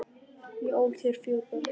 Ég ól þér fjögur börn.